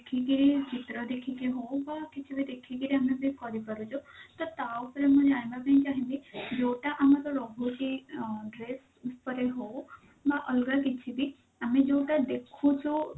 ଦେଖିକିରି ଚିତ୍ର ଦେଖିକି ହଉ ବା କିଛି ବି ଦେଖିକି ଆମେ ଠିକ କରିପାରୁଛୁ ତ ତା ଉପରେ ମୁଁ ଜାଣିବା ପାଇଁ ଚାହିଁବି ଯଉଟା ଆମର ରହୁଛି dress ଉପରେ ହଉ ବା ଅଲଗା କିଛି ବି ଆମେ ଯଉଟା ଦେଖୁଛୁ